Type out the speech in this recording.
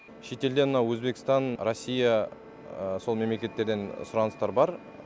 шетелден мынау өзбекстан россия сол мемлекеттерден сұраныстар бар